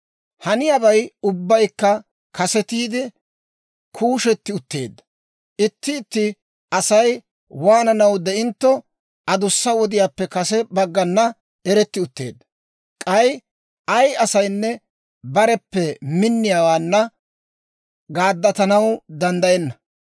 Haniyaabay ubbaykka kasetiide kuushetti utteedda. Itti itti Asay waananaw de'intto, adussa wodiyaappe kase baggan eretti utteedda; k'ay ay asaynne bareppe minniyaawaanna gaaddatanaw danddayenna.